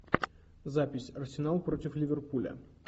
запись арсенал против ливерпуля